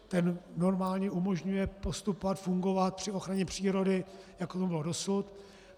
Ten normálně umožňuje postupovat, fungovat při ochraně přírody, jako tomu bylo dosud.